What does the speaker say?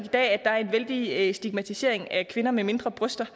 i dag er en vældig stigmatisering af kvinder med mindre bryster